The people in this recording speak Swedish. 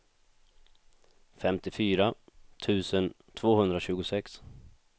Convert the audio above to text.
femtiofyra tusen tvåhundratjugosex